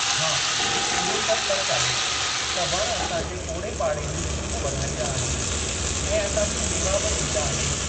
हा, इहो त सचु आहे, त वण असांजे ओड़ेपाड़े जी सूंहं वधाईंदा आहिनि ऐं असांखे मेवा बि ॾींदा आहिनि।